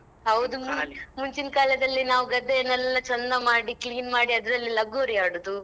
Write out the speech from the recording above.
ಹೌದು ಮುಂಚಿನ್ ಕಾಲದಲ್ಲಿ ನಾವು ಗದ್ದೆಯನ್ನೆಲ್ಲ ಚಂದ ಮಾಡಿ clean ಮಾಡಿ ಅದ್ರಲ್ಲಿ ಲಗೋರಿ ಆಡುದು.